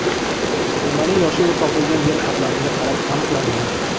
Topilmaning yoshi u topilgan yer qatlamiga qarab aniqlangan.